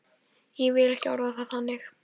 Ég vil ekki orða það þannig.